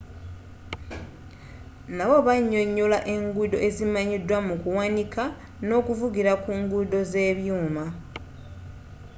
nabbo banyonyola enguudo ezimanyidwa mukuwanika n'okuvugira ku nguudo z'ebyuuma